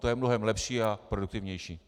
To je mnohem lepší a produktivnější.